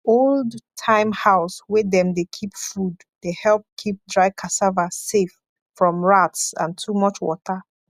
old time house wey dem de keep food de help keep dry cassava safe from rats and too much water